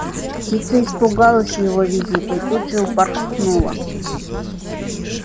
птица испугалась его визита и тут же упорхнула